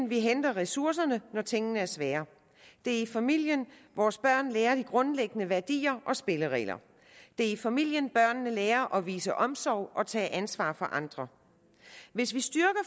vi henter ressourcerne når tingene er svære det er i familien at vores børn lærer de grundlæggende værdier og spilleregler det er i familien at børnene lærer at vise omsorg og tage ansvar for andre hvis vi styrker